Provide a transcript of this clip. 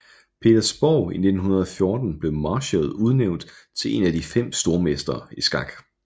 Petersborg i 1914 blev Marshall udnævnt til en af de 5 stormestre i skak